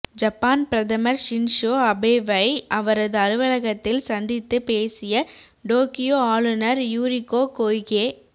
Japan பிரதமா் Shinzo அபேவை அவரது அலுவலகத்தில் சந்தித்து பேசிய டோக்கியோ ஆளுநா் யுரிகோ கொய்கே